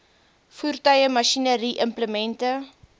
voertuie masjinerie implemente